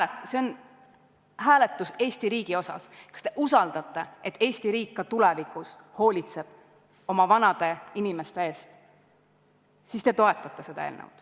Kui teil on usaldus selle vastu, et Eesti riik ka tulevikus hoolitseb oma vanade inimeste eest, siis te toetate seda eelnõu.